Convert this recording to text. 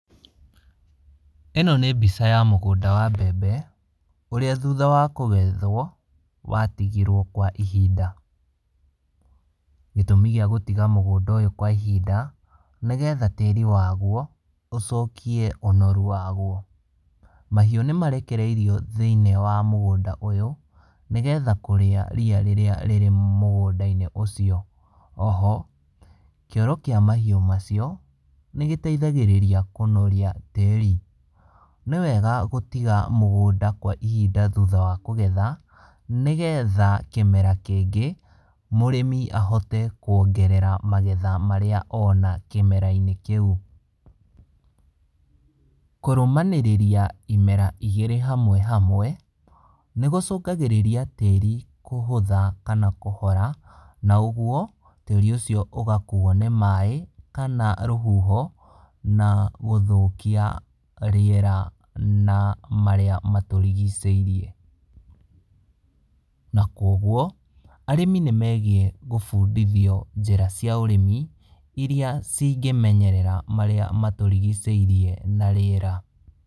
Ĩno nĩ mbica ya mũgũnda wa mbembe, ũrĩa thutha wa kũgethwo, watigirwo kwa ihinda. Gĩtũmi kĩa gũtiga mũgũnda ũyũ kwa ihinda, nĩgetha tĩri waguo, ũcokie ũnoru waguo. Mahiũ nĩmarekereirio thinĩ wa mũgũnda ũyũ, nĩgetha kũrĩa ria rĩrĩa rĩ mũgũndainĩ ũcio. Oho, kĩoro kĩa mahiũ macio, nĩgĩteithagĩrĩria kũnoria tĩri. Nĩwega gũtiga mũgũnda kwa ihinda thutha wa kũgetha, nĩgetha kĩmera kĩngĩ, mũrĩmi ahote kuongerera magetha marĩa ona kĩmerainĩ kĩũ. Kũrũmanĩrĩria imera igĩrĩ hamwe hamwe, nĩgũcũngagĩrĩrĩa tĩri kũhũtha kana kũhora, na ũguo, tĩri ũcio ũgakuo nĩ maĩ, kana rũhuho, na gũthũkia rĩera na marĩa matũrigicĩirie. Na koguo, arĩmi nĩmegiĩ gũbundithio njĩra cia ũrĩmi, iria cingĩmenyerera marĩa matũrigicĩirie na rĩera.